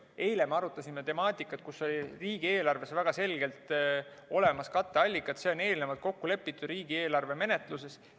Eile me arutasime temaatikat, kus riigieelarves on väga selgelt olemas katteallikad, see on eelnevalt kokku lepitud riigieelarve menetluses.